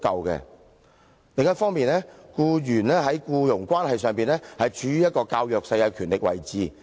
另一方面，僱員在僱傭關係上，處於較弱勢的權力位置。